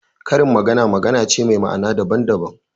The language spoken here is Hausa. Karin magana magana ce me ma'ana daban daban